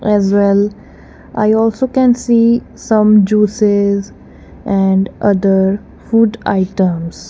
as well i also can see some juices and other food items.